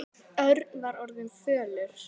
Örn var orðinn fölur.